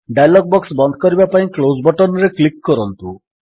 dialog box ବନ୍ଦ କରିବା ପାଇଁ କ୍ଲୋଜ୍ ବଟନ୍ ରେ କ୍ଲିକ୍ କରନ୍ତୁ